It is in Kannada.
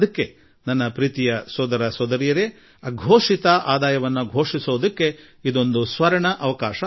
ಆದುದರಿಂದ ನನ್ನ ಪ್ರೀತಿಯ ಸೋದರ ಸೋದರಿಯರೇ ಅಘೋಷಿತ ಆದಾಯ ಘೋಷಿಸಿಕೊಳ್ಳಲು ಇದೊಂದು ಸುವರ್ಣ ಅವಕಾಶ